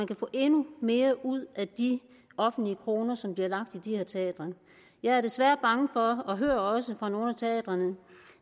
kan få endnu mere ud af de offentlige kroner som bliver lagt i de her teatre jeg er desværre bange for og hører også fra nogle af teatrene